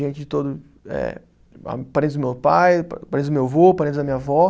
Gente de todo eh, ah, parentes do meu pai, parentes do meu vô, parentes da minha vó.